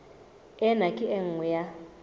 ena ke e nngwe ya